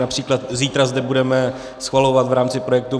Například zítra zde budeme schvalovat v rámci projektu